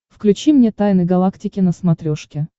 включи мне тайны галактики на смотрешке